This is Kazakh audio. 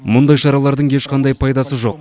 мұндай шаралардың ешқандай пайдасы жоқ